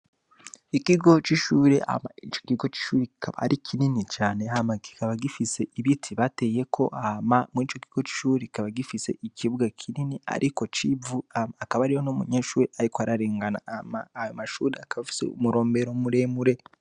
Ikigo c'ishuri ama ico gigo c'ishuri kikaba ari kinini cane hama gikaba gifise ibiti bateyeko ama muri co gigo c'ishuri kikaba gifise ikibuwa kinini, ariko civu ama akaba ariho no munyensh uwe, ariko ararengana ama ayo mashuri akabafise umurombero muremure.